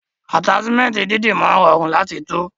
Ataṣimẹnti dídì máa rọrun lati tú.